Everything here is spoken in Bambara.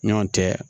Ɲɔn tɛ